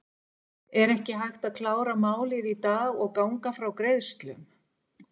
Er ekki hægt að klára málið í dag og ganga frá greiðslum?